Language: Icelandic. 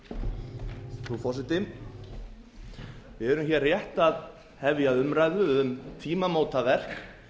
frú forseti við erum hér rétt að hefja umræðu um tímamótaverk